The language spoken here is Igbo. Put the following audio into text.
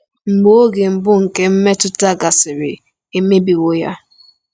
Mgbe oge mbụ nke mmetụta gasịrị, e mebiwo ya.